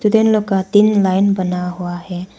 तीन लोग का तीन लाइन बना हुआ है।